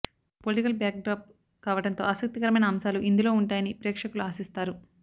politic backdrop కావడంతో ఆసక్తికరమైన అంశాలు ఇందులో ఉంటాయని ప్రేక్షకులు ఆశిస్తారు